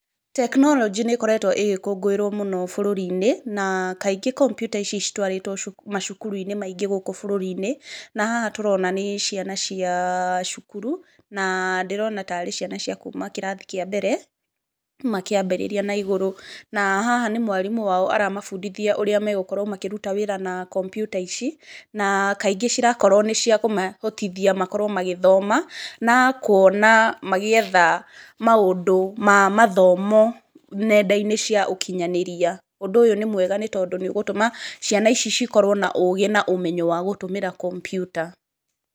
Tekinoronjĩ nĩ ĩkoretwo ĩgĩkũngũĩrwo mũno bũrũri-inĩ na kaingĩ kompiuta ici citwarĩtwo macukuru-inĩ maingĩ gũkũ bũrũri-inĩ. Na haha tũrona nĩ ciana cia cukuru, na ndĩrona tarĩ ciana cia kuuma kĩrathi kĩa mbere makĩambĩrĩria na igũrũ. Na haha nĩ mwarimũ wao aramabundithia ũrĩa megũkorwo makĩruta wĩra na kompiuta ici, na kaingĩ cirakorwo nĩ cia kũmahotithia makorwo magĩthoma na kuona magĩetha maũndũ ma mathomo nenda-inĩ cia ũkinyanĩria. Ũndũ ũyũ nĩ mwega, nĩ tondũ nĩ ũgũtũma ciana ici cikorwo na ũgĩ na ũmenyo wa gũtũmĩra kompiuta.